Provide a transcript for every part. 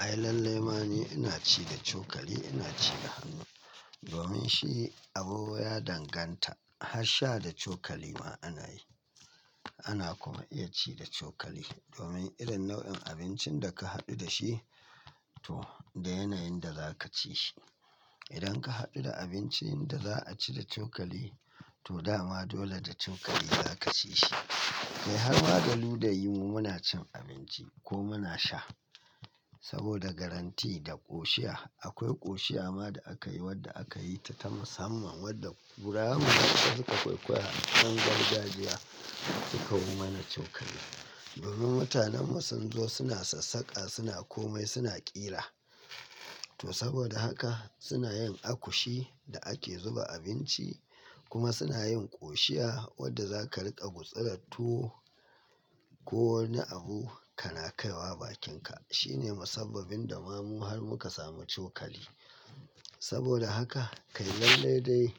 Ai lallai ma ne ina ci da cokali, ina ci da hannu domin shi abubuwa ya danganta. Har sha da cokali ma ana yi, ana kuma iya ci da cokali domin irin nau'in abincin da ka haɗu da shi to da yanayin da za ka ci shi. Idan ka haɗu da abincin da za a ci da cokali to dama dole da cokali za ka ci shi. Kai har ma da luda yi mu muna cin abinci ko muna sha saboda garanti da ƙoshiya. Akwai ƙoshiya ma da akayi wadda akayi ta ta musamman wadda kurama da duka ƙwaiƙwayi haɗuwan gargajiya suka yi mana cokali. Domin mutanen mu sunzo suna sassaka, suna komai, suna ƙira to saboda haka suna yin akushi da ake zuba abinci kuma suna yin ƙoshiya wadda za ka riƙa gutsura tuwo ko wani abu kana kaiwa bakinka. Shine masabbabin da ma mu har muka samu cokali. Saboda haka kai lallai dai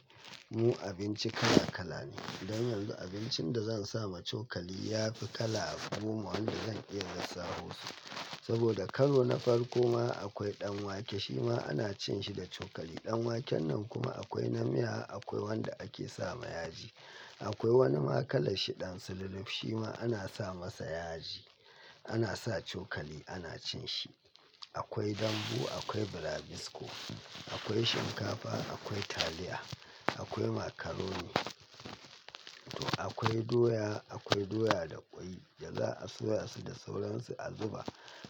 mu abinci kala kala ne. Don yanzu abincin da zan sa ma cokali ya fi kala goma wanda zan iya lissafa su saboda karo na farko ma akwai ɗanwake shi ma ana cin shi da cokali. Ɗanwaken nan kuma akwai na miya akwai wanda ake sa ma yaji. Akwai wani ma kalan shi ɗan sululuf shi ma ana sa masa yaji, ana sa cokali ana cin shi. Akwai dambu, akwai burabisko, akwai shinkafa, akwai taliya, akwai makaroni to akwai doya, akwai doya da kwai da za a soya su da sauransu a zuba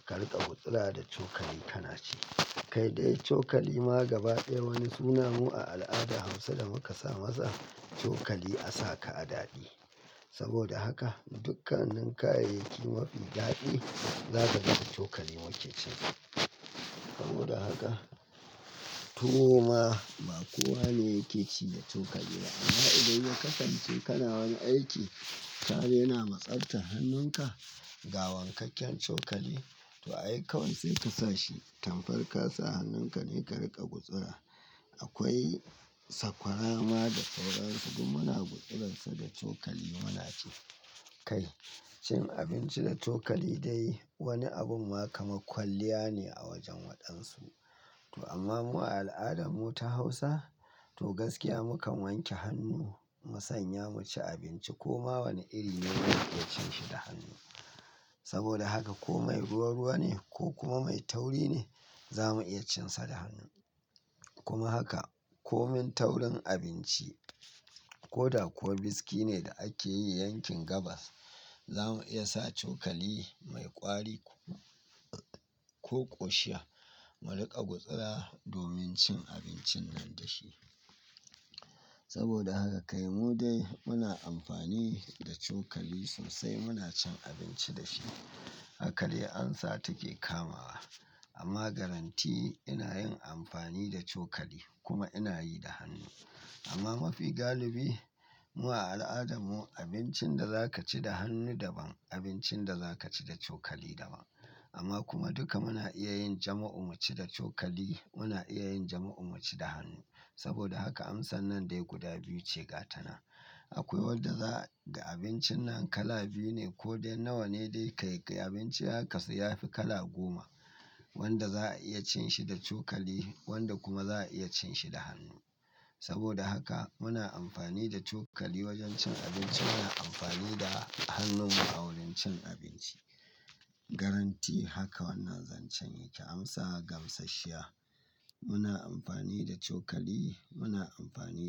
ka riƙa gutsura da cokali kana ci. Kai dai cokali ma gaba ɗaya wani suna mu a al'ada Hausa da muka sa masa cokali a saka a daɗi saboda haka dukkanin kayayyaki mafi daɗi zaka riƙa cokali wanke cin. Saboda haka tuwo ma ba kowa ne yake ci da cokali ba amma idan ya kasance kana wani aiki tare na matsatar hannunka ga wankakken cokali to ai kawai sai ka sa shi. Tamfar kasa hannunka ne ka riƙa gutsura. Akwai sakwara ma da sauransu kuma muna gutsuransa da cokali muna ci. Kai cin abinci da cokali dai wani abun ma kama kwalliya ne a wajen waɗansu. To amma mu a al'adarmu ta Hausa to gaskiya muka wanke hannu mu sanya mu ci abinci ko ma wane iri ne za mu iya cin shi da hannu. Saboda haka ko mai ruwa-ruwa ne ko kuma mai tauri ne za mu iya cin sa da hannu. Kuma haka ko min taurin abinci ko da kuwa biski ne da ake yi yankin gabas za mu iya sa cokali mai ƙwari ko, ko ƙoshiya mu riƙa gutsura domin cin abincin nan da shi. Saboda haka kai mu dai muna amfani da cokali sosai muna cin abinci da shi. Haka dai amsa take kamawa amma garanti ina yin amfani da cokali kuma ina yi da hannu. Amma mafi galibi mu a al'adarmu abincin da za ka ci da hannu daban, abincin da za ka ci da cokali daban. Amma kuma duka muna iya yin jama'u mu ci da cokali, muna iya yin jama'u mu ci da hannu. Saboda haka amsan nan dai guda biyu ce gatana. Akwai wanda za ga abincin nan kala biyu ne ko dai nawa ne dai ka ƙai abinci haka sai yafi kala goma wanda za a iya cin shi da cokali wanda kuma za a iya cin shi da hannu. Saboda haka muna amfani da cokali wajen cin abinci, muna amfani da hannun mu a wurin cin abinci. Garanti haka wannan zancen yake amsa gamsashiya. Muna amfani da cokali muna amfani da.